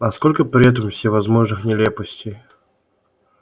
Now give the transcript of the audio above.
а сколько при этом всевозможных нелепостей